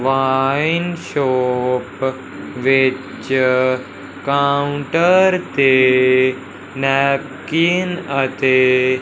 wine shop which counter के napkin आते--